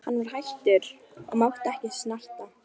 Hann var hættur og mátti ekki snerta.